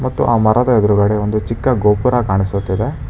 ಮತ್ತು ಅ ಮರದ ಎದ್ರುಗಡೆ ಒಂದು ಚಿಕ್ಕ ಗೋಪುರ ಕಾಣಿಸುತ್ತಿದೆ.